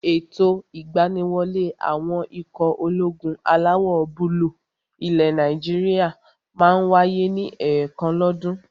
Ètò ìgbaniwọlé àwọn ikọ̀ ológun alawọ̀-búúlù ilẹ̀ Nàìjíríyà máa n wáyé ní ẹ̀ẹ̀kan lọ́ dún.